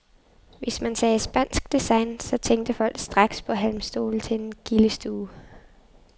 Hvis man sagde spansk design, så tænkte folk straks på halmstole til en gildestue.